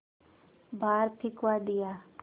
बाहर फिंकवा दिया